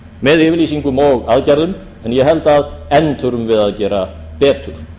með yfirlýsingum og aðgerðum en ég held að enn þurfum við að gera betur